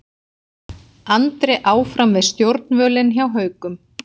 Andri áfram við stjórnvölinn hjá Haukum